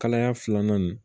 Kalaya filanan nin